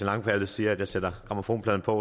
langballe siger at jeg sætter grammofonpladen på